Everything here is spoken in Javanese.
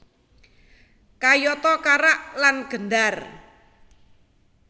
Kayata karak lan gendar